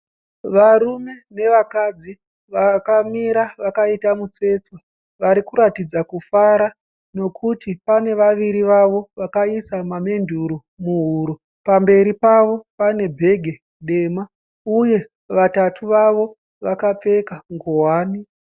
Varume nevakadzi vakamira vakaita mutsetse. Varikuratidza kufara nekuti pane vaviri vavo vakaisa mamenduro muhuro. Pamberi pavo pane bhegi dema, uye vatatu vavo vakapfeka nguwani.